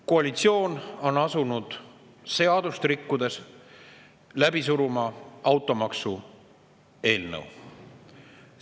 Koalitsioon on asunud seadust rikkudes läbi suruma automaksu eelnõu.